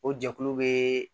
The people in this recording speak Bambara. O jɛkulu bɛ